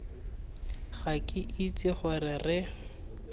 ga ke itse gore re